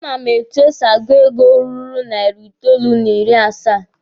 A ma m etu e si agụ ego ruru narị itoolu n'ịrị asaa.